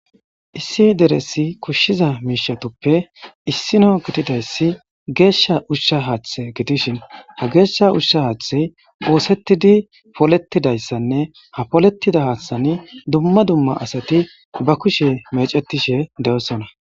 Issi deresi kushshiza miishatoppe issino gitidayssi geeshsha ushsha haaththe gitishin ha geeshsha ushsha haathey oosettidi polettidayssanne ha polettida haaththani dumma dumma asati ba kushe mecetishe de'osona.